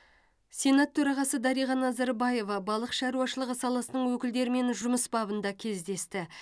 сенат төрағасы дариға назарбаева балық шаруашылығы саласының өкілдерімен жұмыс бабында кездесті